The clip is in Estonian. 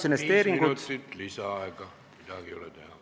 Viis minutit lisaaega, midagi ei ole teha.